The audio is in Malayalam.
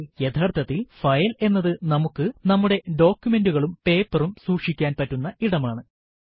യഥാർത്ഥത്തിൽ ഫയൽ എന്നത് നമുക്ക് നമ്മുടെ ഡോകുമെന്റുകളും പേപ്പറും സൂക്ഷിക്കാൻ പറ്റുന്ന ഇടമാണ്